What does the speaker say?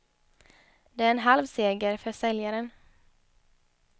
Det är en halv seger för säljaren.